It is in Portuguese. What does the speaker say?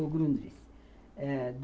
O Grundris. Eh